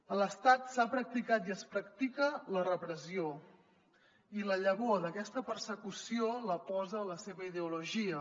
a l’estat s’ha practicat i es practica la repressió i la llavor d’aquesta persecució la posa la seva ideologia